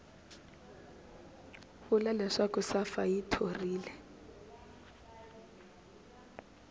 vula leswaku safa yi thorile